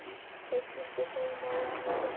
Þeir hlustuðu þolinmóðir á hana þusa.